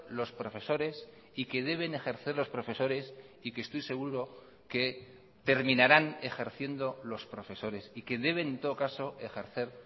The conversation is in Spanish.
los profesores y que deben ejercer los profesores y que estoy seguro que terminarán ejerciendo los profesores y que deben en todo caso ejercer